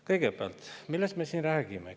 Kõigepealt, millest me siin räägime?